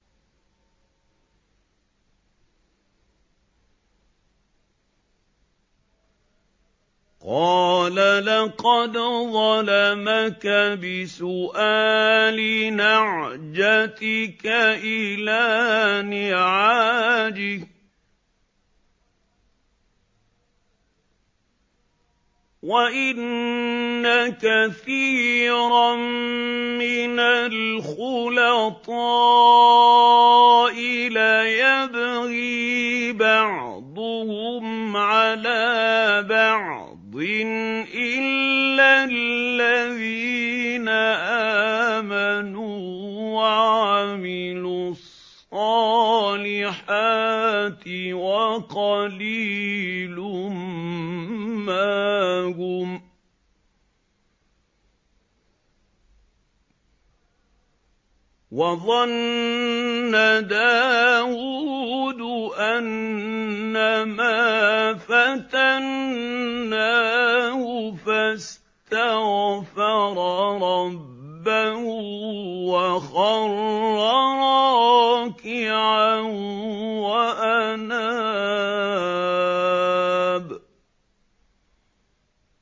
قَالَ لَقَدْ ظَلَمَكَ بِسُؤَالِ نَعْجَتِكَ إِلَىٰ نِعَاجِهِ ۖ وَإِنَّ كَثِيرًا مِّنَ الْخُلَطَاءِ لَيَبْغِي بَعْضُهُمْ عَلَىٰ بَعْضٍ إِلَّا الَّذِينَ آمَنُوا وَعَمِلُوا الصَّالِحَاتِ وَقَلِيلٌ مَّا هُمْ ۗ وَظَنَّ دَاوُودُ أَنَّمَا فَتَنَّاهُ فَاسْتَغْفَرَ رَبَّهُ وَخَرَّ رَاكِعًا وَأَنَابَ ۩